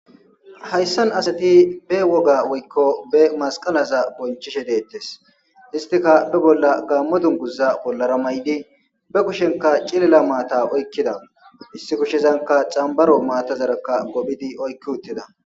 Hayssan asati be woga woykko be masqalaza bonchishe deettes histika be bolla gaammo dunguza bollara may7di be kushenka cilila maata oykkida issi kushezanka xambaro maatazarakka gophidi oykki uttida